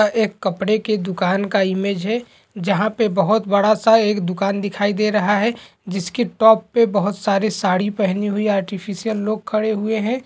एक कपड़े की दुकान का इमेज है जहां पे बहुत बड़ा सा एक दुकान दिखाई दे रहा है जिसका टॉप पे बहुत सारी साड़ी पहनी हुई अर्टिफिकल लोग खड़े हुऐ है।